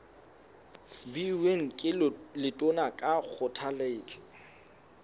beuweng ke letona ka kgothaletso